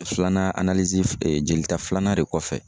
Filanan jolita filanan de kɔfɛ